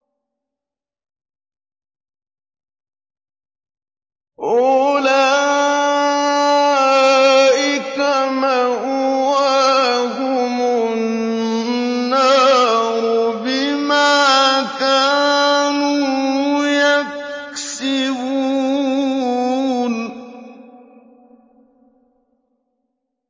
أُولَٰئِكَ مَأْوَاهُمُ النَّارُ بِمَا كَانُوا يَكْسِبُونَ